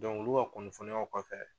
olu ka kunnafoniyaw kɔfɛ